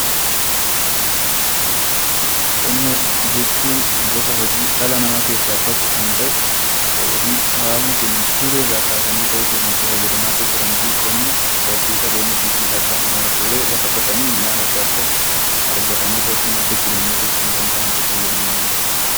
Qonna jechuun gosa hojii dhala namaa keessaa tokko kan ta'e, fi hawaasni keenya dur irraa kaasanii itti fayyadamaa turanii fi qonni horsiisa loonii fi midhaan addaa addaa hojjetanii akka madda galiitti , madda jireenyaatti itti gargaaramanidha.